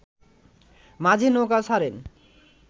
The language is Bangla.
মাঝি নৌকা ছাড়েন